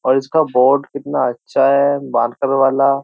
और इसका बोर्ड कितना अच्छा है बानकर वाला।